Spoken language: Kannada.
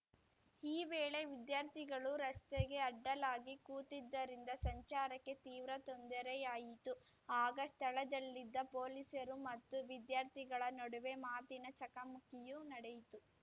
ಈ ವೇಳೆ ವಿದ್ಯಾರ್ಥಿಗಳು ರಸ್ತೆಗೆ ಅಡ್ಡಲಾಗಿ ಕೂತಿದ್ದರಿಂದ ಸಂಚಾರಕ್ಕೆ ತೀವ್ರ ತೊಂದರೆಯಾಯಿತು ಆಗ ಸ್ಥಳದಲ್ಲಿದ್ದ ಪೊಲೀಸರು ಮತ್ತು ವಿದ್ಯಾರ್ಥಿಗಳ ನಡುವೆ ಮಾತಿನ ಚಕಮಕಿಯೂ ನಡೆಯಿತು